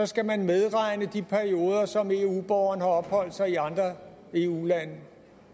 skal man medregne de perioder som eu borgeren har opholdt sig i andre eu lande